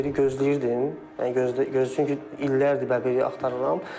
Bəbiri gözləyirdim, çünki illərdir bəbiri axtarıram.